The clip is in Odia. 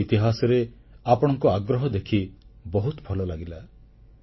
ଭାରତ ଇତିହାସରେ ଆପଣଙ୍କ ଆଗ୍ରହ ଦେଖି ବହୁତ ଭଲଲାଗିଲା